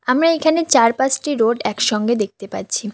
আমরা এখানে চার পাঁচটি রোড একসঙ্গে দেখতে পাচ্ছি।